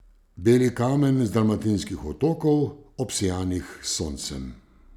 Beli kamen z dalmatinskih otokov, obsijanih s soncem.